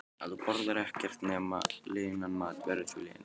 Ef þú borðar ekkert nema linan mat verður þú linur.